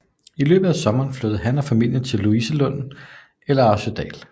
Om sommeren flyttede han og familien til Louisenlund eller til Arresødal